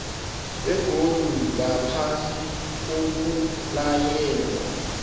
begodu ngaphasi kokulayelwa